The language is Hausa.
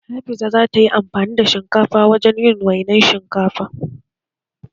Hafiza za ta yi amfani da shinkafa wajen yin wainar shinkafa